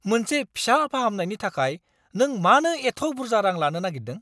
मोनसे फिसा फाहामनायनि थाखाय नों मानो एथ' बुरजा रां लानो नागिरदों?